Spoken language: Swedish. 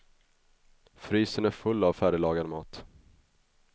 Frysen är full av färdiglagad mat.